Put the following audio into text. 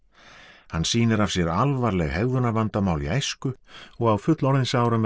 hann sýnir af sér alvarleg hegðunarvandamál í æsku og á fullorðinsárum er hann